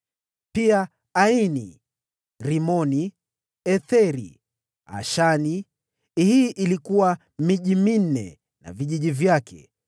Pia Aini, Rimoni, Etheri, na Ashani; hii ilikuwa miji minne na vijiji vyake,